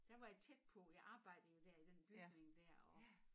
Der var jeg tæt på jeg arbejdede jo dér i den bygning dér og